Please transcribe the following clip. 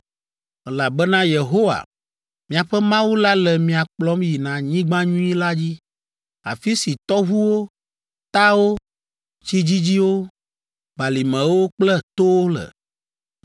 elabena Yehowa, miaƒe Mawu la le mia kplɔm yina anyigba nyui la dzi, afi si tɔʋuwo, tawo, tsi dzidziwo, balimewo kple towo le.